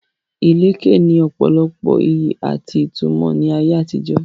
Ìlẹ̀kẹ̀ ní ọ̀pọ̀lọpọ̀ ìyí àti ìtumọ̀ ní ayé àtijó.